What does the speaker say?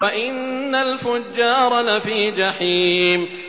وَإِنَّ الْفُجَّارَ لَفِي جَحِيمٍ